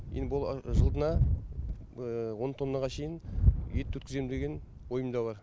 енді бұл жылына он тоннаға шейін ет өткіземін деген ойымда бар